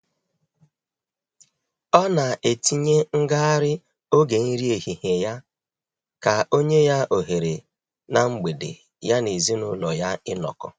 Ọ na etinye ngagharị oge nri ehihie ya ka onye ya ohere na mgbede ya na ezinụlọ ya inọkọ